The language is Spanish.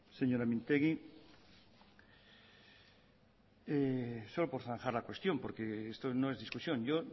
señora mintegi solo por zanjar la cuestión porque esto no es discusión yo